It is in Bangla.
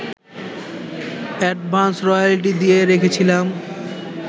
অ্যাডভান্স রয়্যালটি দিয়ে রেখেছিলাম